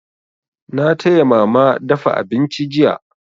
Na taya mama dafa abinci jiya.